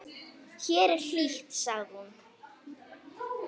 Hér er hlýtt, sagði hún.